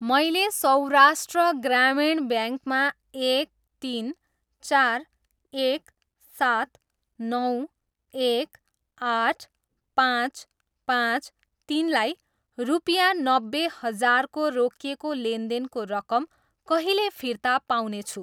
मैले सौराष्ट्र ग्रामीण ब्याङ्कमा एक, तिन, चार, एक, सात, नौ, एक, आठ, पाँच, पाँच, तिनलाई रुपियाँ नब्बे हजारको रोकिएको लेनदेनको रकम कहिले फिर्ता पाउनेछु?